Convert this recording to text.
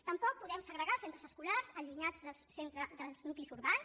tampoc podem segregar els centres escolars allunyats dels nuclis urbans